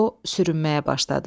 O sürünməyə başladı.